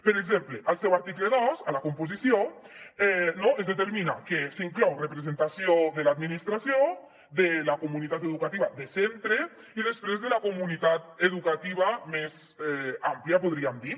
per exemple al seu article dos a la composició es determina que s’hi inclou representació de l’administració de la comunitat educativa de centre i després de la comunitat educativa més àmplia en podríem dir